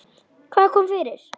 Hvað kom fyrir?